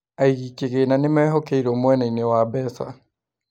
Aigi kĩgĩna nĩmehokeirwo mwenaine wa mbeca